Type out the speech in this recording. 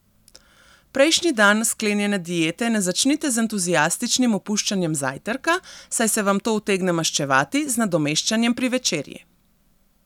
Prejšnji dan sklenjene diete ne začnite z entuziastičnim opuščanjem zajtrka, saj se vam to utegne maščevati z nadomeščanjem pri večerji.